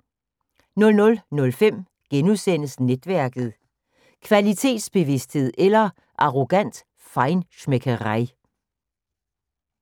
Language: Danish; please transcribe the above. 00:05: Netværket: Kvalitetsbevidsthed eller arrogant feinschmeckerei *